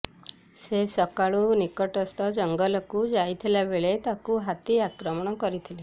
ସେ ସକାଳୁ ନିକଟସ୍ଥ ଜଙ୍ଗଲକୁ ଯାଇଥିବାବେଳେ ତାଙ୍କୁ ହାତୀ ଆକ୍ରମଣ କରିଥିଲା